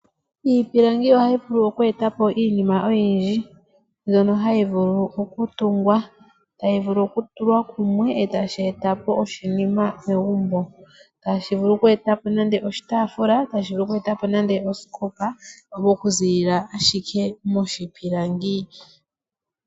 Iipilangi ohayi vulu oku eta po iinima oyindji mbyono hayi vulu okutungwa. Ohayi vulu okutulwa kumwe e tashi eta po oshinima megumbo. Ohashi vulu oku eta po nenge oshitaafula nenge tashi vulu oku eta po osikopa okuziilila ashike moshipilangi.